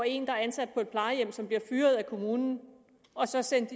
en der er ansat på et plejehjem som bliver fyret af kommunen og så sendes